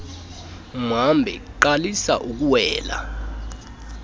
mhambi qalisa ukuwela